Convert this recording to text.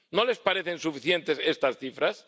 ¿No les parecen suficientes estas cifras?